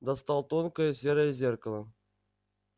достал тонкое серое зеркало